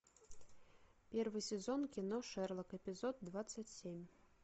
первый сезон кино шерлок эпизод двадцать семь